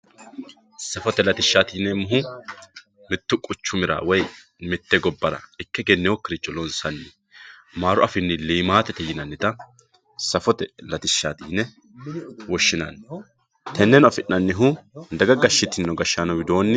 Sufote latishati yinemohu mittu quchumira woyi mitte gobara ikke egenewokiricho lonsami amaru afiini limaatete yinanita safote latishati yine woshinani teneno afinanihu daga gashitino gashaano widooni.